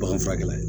Bagan furakɛ